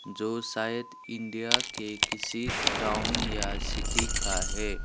जो शायद इंडिया के किसी टाउन या सिटी का है।